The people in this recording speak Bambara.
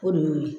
O de y'o ye